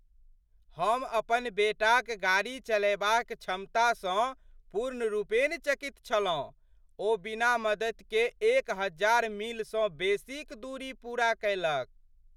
हम अपन बेटाक गाड़ी चलयबाक क्षमतासँ पूर्णरूपेण चकित छलहुँ! ओ बिना मदतिक एक हजार मीलसँ बेसीक दूरी पूरा कयलक!